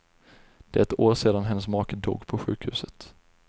Det är ett år sedan hennes make dog på sjukhuset.